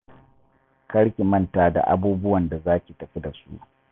Kar ki manta da abubuwan da za ki tafi da su.